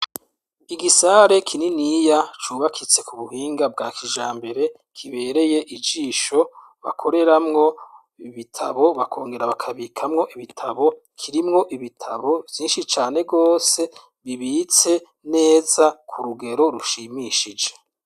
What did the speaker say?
Igisare kininiya cubakitse ku buhinga bwa kija mbere kibereye ijisho bakoreramwo ibitabo bakongera bakabikamwo ibitabo kirimwo ibitabo vyinshi cane rwose bibitse neza ku rugero rushimishije.